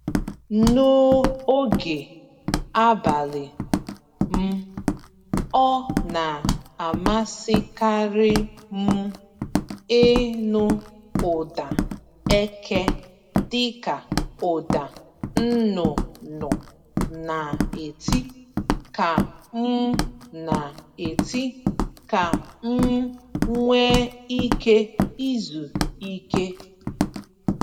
N’oge abalị m ọ na amasịkarị m ịnụ ụda eke dịka ụda nnụnụ na-eti ka m na-eti ka m nwe ike izu ike.